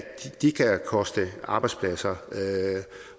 de kan koste arbejdspladser